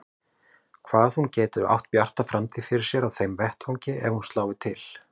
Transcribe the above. Hvað hún geti átt bjarta framtíð fyrir sér á þeim vettvangi ef hún slái til.